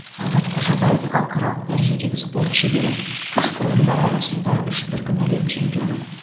талғат қожабаев халықаралық дәрежедегі спорт шебері күш құрылымдары арасында үш дүркін әлем чемпионы